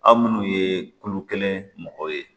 Aw munnu ye kulu kelen mɔgɔ ye